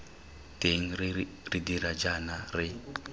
teng re dira jaana re